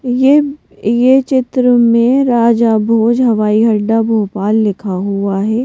यहयह चित्र में राजा भोज हवाई हड्डा भोपाल लिखा हुआ है।